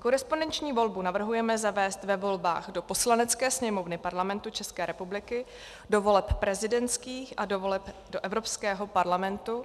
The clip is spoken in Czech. Korespondenční volbu navrhujeme zavést ve volbách do Poslanecké sněmovny Parlamentu České republiky, do voleb prezidentských a do voleb do Evropského parlamentu,